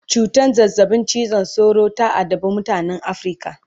cutan zazzabin cizon sauro ta addabe mutanan Africa